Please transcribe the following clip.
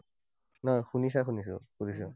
নহয় শুনিছা শুনিছো, সুধিছো।